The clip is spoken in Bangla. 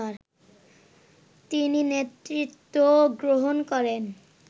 তিনি নেতৃত্ব গ্রহণ করেন